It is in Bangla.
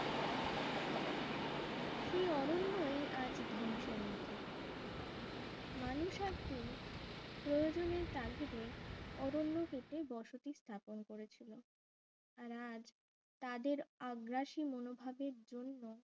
সেই অরণ্যই আজ ধ্বংসের মুখে মানুষ একদিন প্রয়োজনে তাগিদে অরণ্য কেটে বসতি স্থাপন করেছিল আর আজ তাদের আগ্রাসী মনোভাবের জন্য